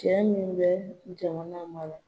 Cɛ min bɛ jamana mara